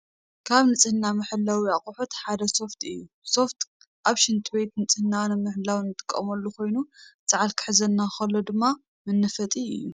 ካብ ንፅሕና መሕለዊ ኣቕሑት ሓደ ሶፍት እዩ፡፡ ሶፍት ኣብ ሽንት ቤት ንፅህናና ንምሕላው እንጥቀመሉ ኮይኑ ሰዓል ክትሕዘና ከላ ድማ መናፈጢ እዩ፡፡